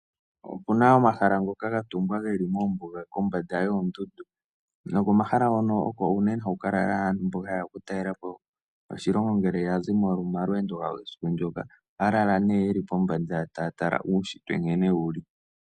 Opena omahala ngoka gatungwa geli moombuga kombanda yoondundu noko mahala ngoka oko uunene haku kalala aantu mboka yeya okutalelapo oshilongo ngeke yazi momalweendo gawo uusiku mboka .Ohaya lala nee yeli pombanda taya tala nkene uushitwe wuli.